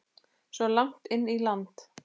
Svo langt inn í landi?